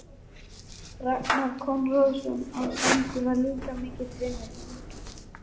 Ragnar Konráðsson á Sandi var líka mikill vinur minn.